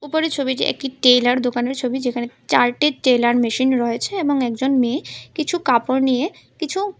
উপরের ছবিটি একটি টেইলার দোকানের ছবি যেখানে চারটে টেলার মেশিন রয়েছে এবং একজন মেয়ে কিছু কাপড় নিয়ে কিছু--